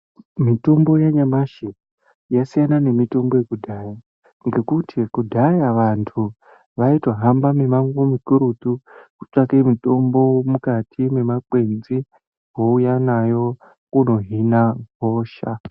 Mitombo yanyamashi yasiyana nemitombo yekudhaya ngekuti kudhaya vantu vaitohamba mimango mikurutu kutsvake mitombo mukati mwemakwenzi vouya nayo kunohina hosha.